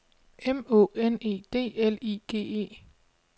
M Å N E D L I G E